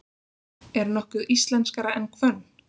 Er nokkuð íslenskara en hvönn?